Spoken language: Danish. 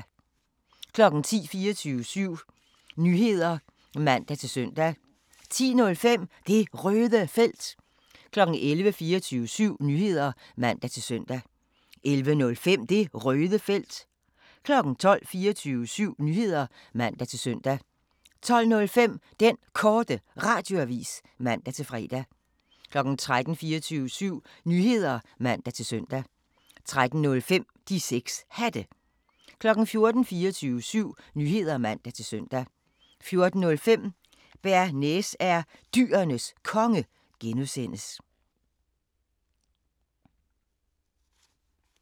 10:00: 24syv Nyheder (man-søn) 10:05: Det Røde Felt 11:00: 24syv Nyheder (man-søn) 11:05: Det Røde Felt 12:00: 24syv Nyheder (man-søn) 12:05: Den Korte Radioavis (man-fre) 13:00: 24syv Nyheder (man-søn) 13:05: De 6 Hatte 14:00: 24syv Nyheder (man-søn) 14:05: Bearnaise er Dyrenes Konge (G)